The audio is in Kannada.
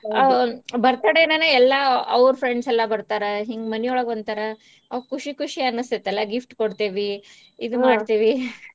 Birthday ಇಂದನೆ ಎಲ್ಲಾ ಅವ್ರ್ friends ಎಲ್ಲಾ ಬರ್ತಾರ ಹಿಂಗ್ ಮನಿ ಒಳ್ಗ ಒಂತರಾ ಖುಷಿ ಖುಷಿ ಅನ್ಸ್ತೇತಲ್ಲ gift ಕೊಡ್ತೇವಿ ಇದ್ ಮಾಡ್ತೇವಿ .